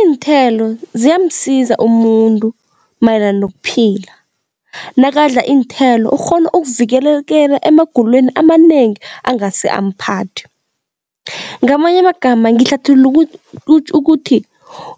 Iinthelo ziyamsiza umuntu mayelana nokuphila. Nakadla iinthelo ukghona ukuvikeleka emagulweni amanengi angase amphathe. Ngamanye amagama ngihlathulula ukuthi